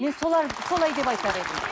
мен солай деп айтар едім